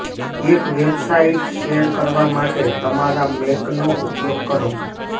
એક website share કરવા માટે તમારા મેકનો ઉપયોગ કરો